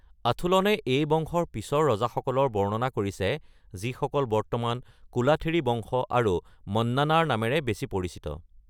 আথুলনে এই বংশৰ পিছৰ ৰজাসকলৰ বৰ্ণনা কৰিছে যিসকল বৰ্তমান কোলাথিৰী বংশ আৰু মন্নানাৰ নামেৰে বেছি পৰিচিত।